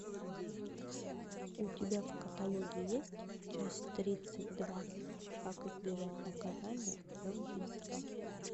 у тебя в каталоге есть часть тридцать два как избежать наказания за убийство